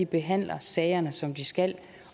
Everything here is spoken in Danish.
behandler sagerne som de skal